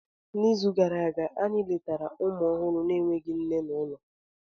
N'izu gara aga, anyị letara ụmụ ọhụrụ na-enweghị nne n'ụlọ.